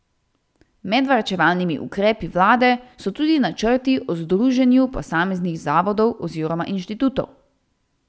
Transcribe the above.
Med varčevalnimi ukrepi vlade so tudi načrti o združevanju posameznih zavodov oziroma inštitutov.